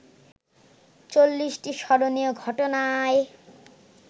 ৪০টি স্মরণীয় ঘটনায়